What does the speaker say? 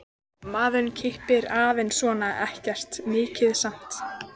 Maður kippir aðeins svona, ekkert mikið samt.